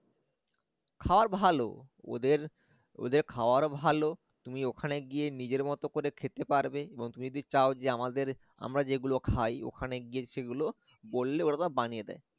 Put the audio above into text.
খাবার ভাল ওদের ওদের খাবার ভাল তুমি ওখানে গিয়ে নিজের মত করে খেতে পারবে এবং তুমি যদি চাও যে আমাদের আমরা যেগুলো খাই ওখানে গিয়ে সেগুলো বললে ওরা বানিয়ে দেয়